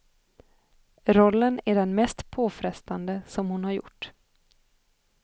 Rollen är den mest påfrestande som hon har gjort.